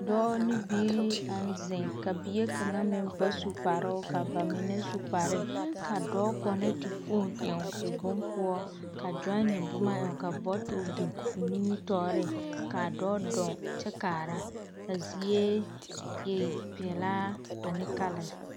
Dɔɔ ne biiri naŋ zeŋ, ka bie kaŋa meŋ ba su kparoo ka ba mine su kparee. Ka dɔɔ kaŋ na tur fon ɛoŋ o bompoɔ ka gyone boma eŋ ka bɔtol biŋ o nimitɔɔreŋ kaa dɔɔ dɔɔŋ kyɛ kaara ka zie e pelaa ane kalɛse.